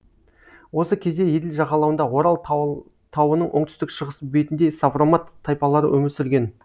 осы кезде еділ жағалауында орал тауының оңтүстік шығыс бетінде савромат тайпалары өмір сүрген